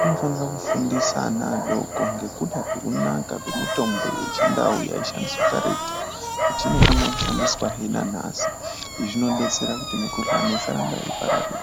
anofanire kufundise ana adoko ngekuda kwekunaka kwemitombo yechindau yaishandiswa karetu, kuti inofanire kushandiswazve nanhasi. Izvi zvinodetsere kuti mikhuhlani isarambe yeipararira.